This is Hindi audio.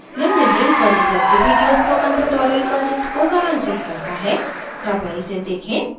निम्न link पर उपलब्ध video spoken tutorial project को सारांशित करता है कृपया इसे देखें